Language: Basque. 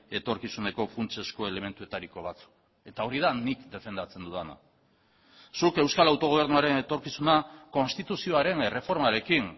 etorkizuneko funtsezko elementuetariko bat eta hori da nik defendatzen dudana zuk euskal autogobernuaren etorkizuna konstituzioaren erreformarekin